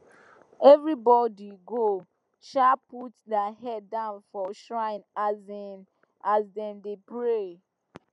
everybody go um put their head down for shrine um as dem dey pray